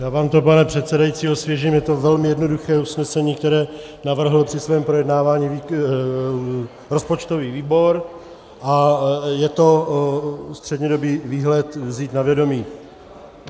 Já vám to, pane předsedající, osvěžím, je to velmi jednoduché usnesení, které navrhl při svém projednávání rozpočtový výbor, a je to střednědobý výhled vzít na vědomí.